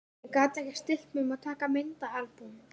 Ég gat ekki stillt mig um að taka myndaalbúm.